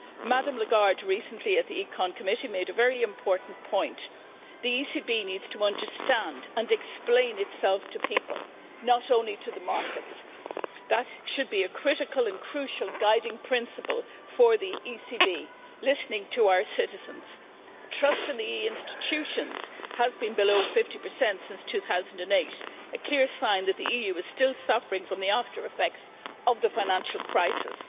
Recently, at the Committee on Economic and Monetary Affairs, Ms Lagarde made a very important point the ECB needs to understand and explain itself to people, not only to the markets. That should be a critical and crucial guiding principle for the ECB listening to our citizens. Trust in the EU institutions has been below 50 since 2008, a clear sign that the Union was still suffering from the after effects of the financial crisis.